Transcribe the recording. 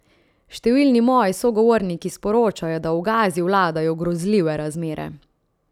Številni moji sogovorniki sporočajo, da v Gazi vladajo grozljive razmere.